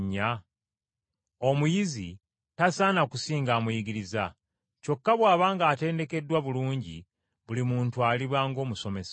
Omuyizi tasaana kusinga amuyigiriza, kyokka bw’aba ng’atendekeddwa bulungi, buli muntu aliba ng’omusomesa we.”